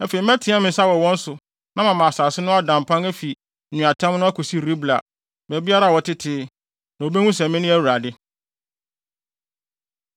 Afei mɛteɛ me nsa wɔ wɔn so na mama asase no ada mpan afi nweatam no akosi Ribla, baabiara a wɔtete. Na wobehu sɛ mene Awurade.’ ”